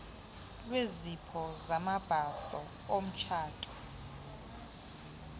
lwezipho zamabhaso omtshato